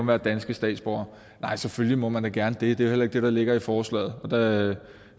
være danske statsborgere nej selvfølgelig må man da gerne det det er jo heller ikke det der ligger i forslaget og